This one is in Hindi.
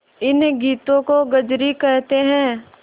इन गीतों को कजरी कहते हैं